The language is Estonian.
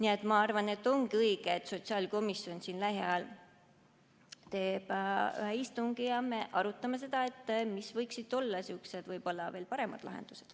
Aga ma arvan, et ongi õige, et sotsiaalkomisjon teeb lähiajal ühe istungi ja me arutame, mis võiksid olla veel paremad lahendused.